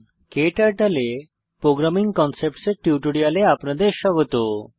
ক্টার্টল এ programming concepts এর টিউটোরিয়ালে আপনাদের স্বাগত